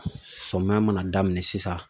Samiyɛ mana daminɛ sisan